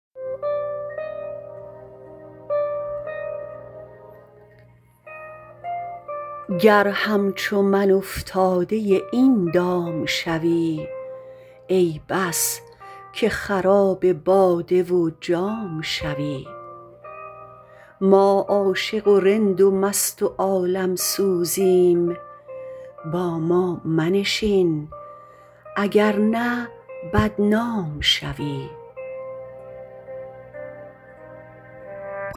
گر همچو من افتاده این دام شوی ای بس که خراب باده و جام شوی ما عاشق و رند و مست و عالم سوزیم با ما منشین اگر نه بدنام شوی